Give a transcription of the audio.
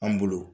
An bolo